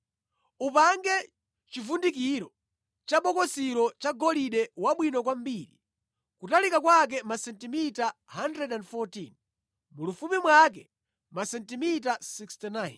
“Upange chivundikiro cha bokosilo cha golide wabwino kwambiri, kutalika kwake masentimita 114, mulifupi mwake masentimita 69.